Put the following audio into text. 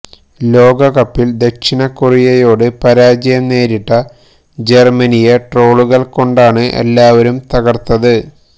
ലോകകപ്പിൽ ദക്ഷിണ കൊറിയയോട് പരാജയം നേരിട്ട ജർമനിയെ ട്രോളുകൾ കൊണ്ടാണ് എല്ലാവരും തകർത്തത്